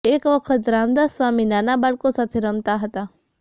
એક વખત રામદાસ સ્વામી નાનાં બાળકો સાથે રમતા હતા